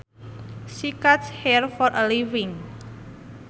She cuts hair for a living